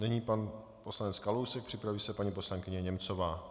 Nyní pan poslanec Kalousek, připraví se paní poslankyně Němcová.